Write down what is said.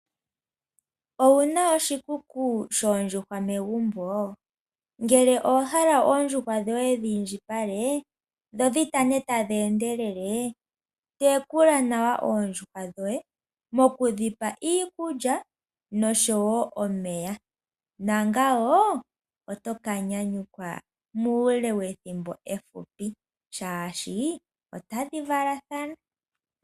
Owu na oshikuku shoondjuhwa megumbo? Ngele owa hala oondjuhwa dhoye dhi indjipale dho dhi tane tadhi endelele, tekula nawa oondjuhwa dhoye mokudhi pa iikulya noshowo omeya, nangawo oto ka nyanyukwa muule wethimbo efupi, shaashi otadhi valathana.